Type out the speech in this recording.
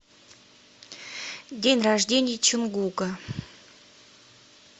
день рождения чонгука